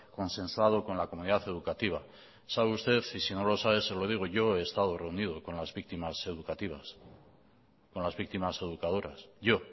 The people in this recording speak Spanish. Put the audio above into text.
consensuado con la comunidad educativa sabe usted y si no lo sabe se lo digo yo he estado reunido con las víctimas educativas con las víctimas educadoras yo